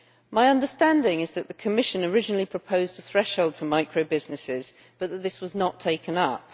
My understanding is that the Commission originally proposed a threshold for micro businesses but that this was not taken up.